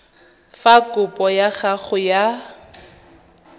fa kopo ya gago ya